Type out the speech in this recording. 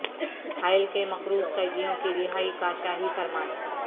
حائل کے مقروض قیدیوں کی رہائی کا شاہی فرمان